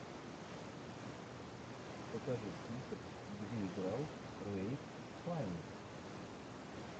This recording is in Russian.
покажи список где играл рэйф файнс